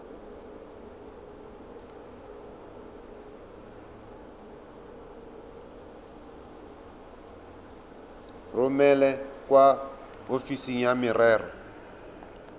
romele kwa ofising ya merero